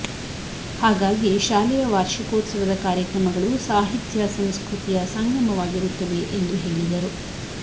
ಹಾಗಾಗಿ ಶಾಲೆಯ ವಾರ್ಷಿಕೋತ್ಸವದ ಕಾರ್ಯಕ್ರಮಗಳು ಸಾಹಿತ್ಯ ಸಂಸ್ಕೃತಿಯ ಸಂಗಮವಾಗಿರುತ್ತವೆ ಎಂದು ಹೇಳಿದರು